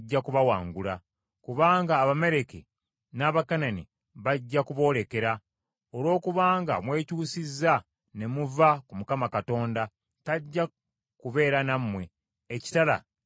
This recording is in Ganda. Kubanga Abamaleki n’Abakanani bajja kuboolekera. Olwokubanga mwekyusizza ne muva ku Mukama Katonda, tajja kubeera nammwe, ekitala kijja kubatta.”